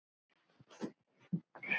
Kristín er fljót til svars.